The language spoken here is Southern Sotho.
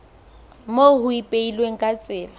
moo ho ipehilweng ka tsela